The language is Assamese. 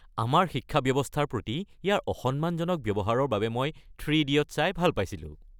আমাৰ শিক্ষা ব্যৱস্থাৰ প্ৰতি ইয়াৰ অসন্মানজনক ব্যৱহাৰৰ বাবে মই "থ্ৰী ইডিয়টছ" চাই ভাল পাইছিলো।